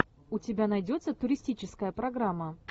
у тебя найдется туристическая программа